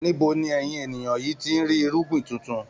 Níbo ni ẹ̀yin ènìyàn yìí tí ń rí irúgbìn tuntun?